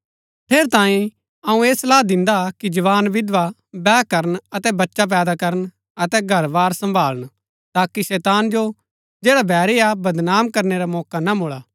ठेरैतांये अऊँ ऐह सलाह दिन्दा कि जवान विधवा बैह करन अतै बच्चै पैदा करन अतै घर वार सम्‍भालण ताकि शैतान जो जैड़ा बैरी हा बदनाम करनै रा मौका ना मुळा